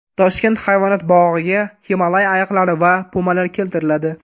Toshkent hayvonot bog‘iga Himolay ayiqlari va pumalar keltiriladi.